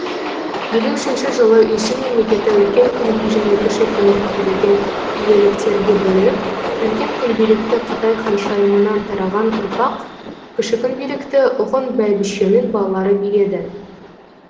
елу үшінші жылы үйсін мемлекеті үлкен күнби және кіші күнби билеген иеліктерге бөлініп үлкен күнбилікті қытай ханшайымынан тараған ұрпақ кіші күнбилікті ғұн бәйбішенің балалары биледі